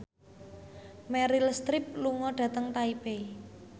Meryl Streep lunga dhateng Taipei